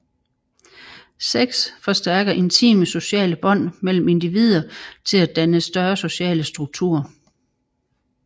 Sex forstærker intime sociale bånd mellem individer til at danne større sociale strukturer